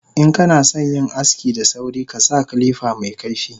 Inkanasan yin aski da sauri kasa kilifa mekaifi